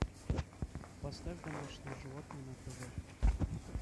поставь домашние животные на тв